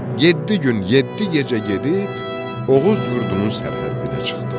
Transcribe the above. Yeddi gün, yeddi gecə gedib Oğuz yurdunun sərhəddinə çıxdılar.